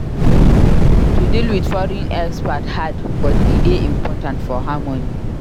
To deal with foreign expat hard but e dey important for harmony.